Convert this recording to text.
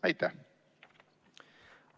Aitäh!